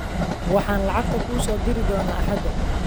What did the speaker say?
Waxaan lacagta kuu soo diri doonaa axaada.